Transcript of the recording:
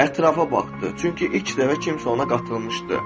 Ətrafa baxdı, çünki ilk dəfə kimsə ona qatılmışdı.